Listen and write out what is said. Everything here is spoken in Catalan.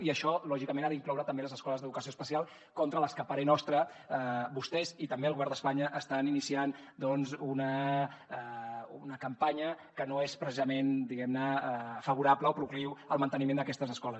i això lògicament ha d’incloure també les escoles d’educació especial contra les que a parer nostre vostès i també el govern d’espanya estan iniciant doncs una campanya que no és precisament diguem ne favorable o procliu al manteniment d’aquestes escoles